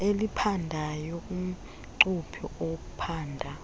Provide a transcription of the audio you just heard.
eliphandayo umcuphi ophanda